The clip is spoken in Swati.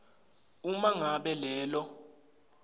uma ngabe lelo